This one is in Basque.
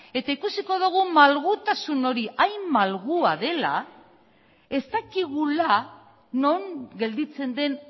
eta ikusiko dugu malgutasun hori hain malgua dela ez dakigula non gelditzen den